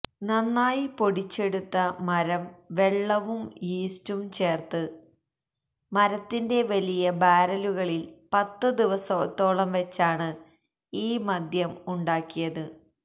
നന്നായി പൊടിച്ചെടുത്ത മരം വെള്ളവും യീസ്റ്റും ചേർത്ത് മരത്തിന്റെ വലിയ ബാരലുകളിൽ പത്ത് ദിവസത്തോളം വച്ചാണ് ഈ മദ്യം ഉണ്ടാക്കിയത്